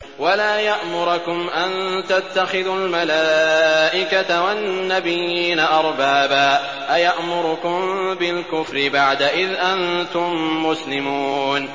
وَلَا يَأْمُرَكُمْ أَن تَتَّخِذُوا الْمَلَائِكَةَ وَالنَّبِيِّينَ أَرْبَابًا ۗ أَيَأْمُرُكُم بِالْكُفْرِ بَعْدَ إِذْ أَنتُم مُّسْلِمُونَ